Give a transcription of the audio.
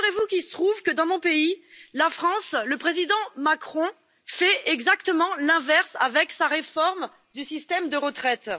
Il se trouve que, dans mon pays, la France, le président Macron fait exactement l'inverse avec sa réforme du système de retraites.